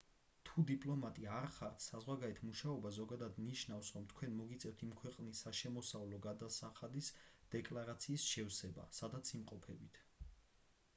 თუ დიპლომატი არ ხართ საზღვარგარეთ მუშაობა ზოგადად ნიშნავს რომ თქვენ მოგიწევთ იმ ქვეყნის საშემოსავლო გადასახადის დეკლარაციის შევსება სადაც იმყოფებით